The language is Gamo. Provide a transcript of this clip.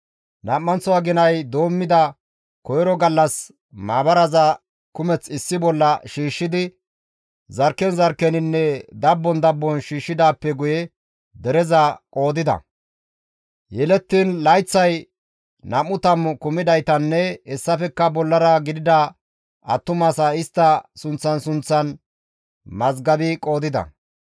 Nam7anththo aginay doommida koyro gallas maabaraza kumeth issi bolla shiishshidi zarkken zarkkeninne dabbon dabbon shiishshidaappe guye dereza qoodida; yelettiin layththay nam7u tammu kumidaytanne hessafekka bollara gidida attumasaa istta sunththan sunththan mazgabi qoodida.